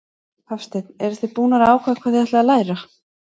Hafsteinn: Eruð þið búnar að ákveða hvað þið ætlið að læra?